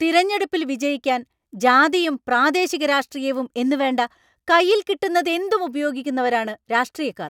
തിരഞ്ഞെടുപ്പിൽ വിജയിക്കാൻ ജാതിയും പ്രാദേശിക രാഷ്ട്രീയവും എന്നുവേണ്ട, കയ്യിൽ കിട്ടുന്നതെന്തും ഉപയോഗിക്കുന്നവരാണ് രാഷ്ട്രീയക്കാർ.